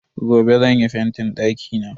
Gobe zan yi fentin dakina.